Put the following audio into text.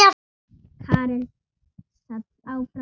Karen sat áfram við borðið.